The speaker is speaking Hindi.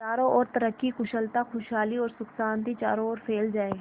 चारों और तरक्की कुशलता खुशहाली और सुख शांति चारों ओर फैल जाए